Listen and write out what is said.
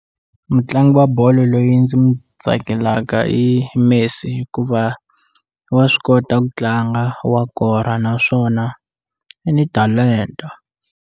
Mutlangi wa bolo loyi ndzi n'wi tsakelaka i Messi hikuva wa swi kota ku tlanga wa kora naswona i ni talento.